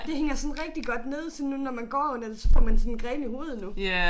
Det hænger sådan rigtig godt ned så nu når man går under det så får man sådan grene i hovedet nu